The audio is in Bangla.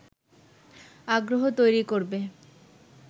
আগ্রহ তৈরি করবে